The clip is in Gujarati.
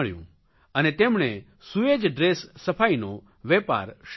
અને તેમણે સુએજ ડ્રેસ સફાઇનો વેપાર શરૂ કર્યો